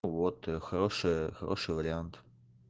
вот хорошая хороший вариант